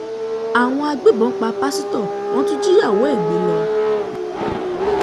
àwọn agbébọn pa pásítọ̀ wọ́n tún jíyàwó ẹ̀ gbé lọ